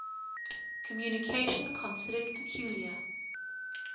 communication considered peculiar